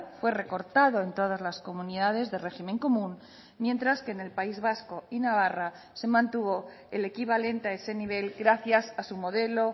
fue recortado en todas las comunidades de régimen común mientras que en el país vasco y navarra se mantuvo el equivalente a ese nivel gracias a su modelo